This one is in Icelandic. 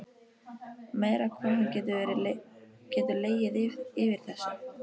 Meira hvað hann getur legið yfir þessu.